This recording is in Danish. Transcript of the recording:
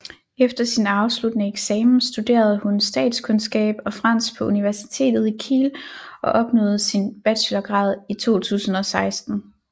Efter sin afsluttende eksamen studerede hun statskundskab og fransk på universitetet i Kiel og opnåede sin bachelorgrad i 2016